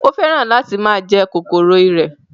Ó fẹ́ràn láti máa jẹ kòkòrò ìrẹ̀